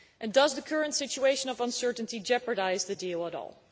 Does the current situation of uncertainty jeopardise the deal at all?